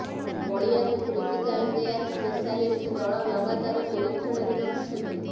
ବଳିଆକୁ critical care specialist ଦଳ ଲଗାତାର ନିରୀକ୍ଷଣରେ ରଖିଛନ୍ତି